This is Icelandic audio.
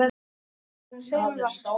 Hefur það ekki áhrif?